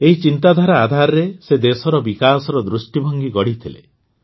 ଏହି ଚିନ୍ତାଧାରା ଆଧାରରେ ସେ ଦେଶର ବିକାଶର ଦୃଷ୍ଟିଭଙ୍ଗୀ ଗଢ଼ିଥିଲେ